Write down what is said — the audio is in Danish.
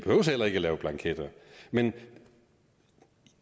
men